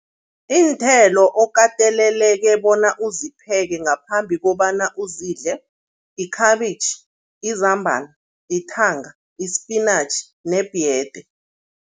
Iinthelo okateleleke bona uzipheke ngaphambi kobana uzidle, ikhabitjhi, izambana, ithanga, i-spinach nebhiyede.